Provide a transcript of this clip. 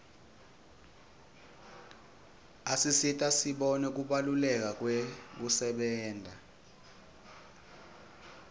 asisita sibone kubaluleka kwekusebenta